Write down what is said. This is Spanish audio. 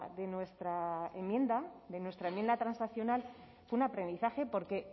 de nuestra enmienda de nuestra enmienda transaccional fue un aprendizaje porque